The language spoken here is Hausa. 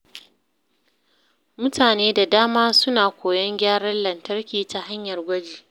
Mutane da dama suna koyon gyaran lantarki ta hanyar gwaji.